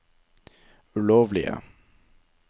ulovlige